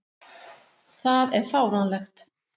Það er fáránlegt.